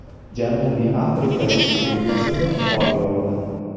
Janubiy Afrika Respublikasida qor yog‘di.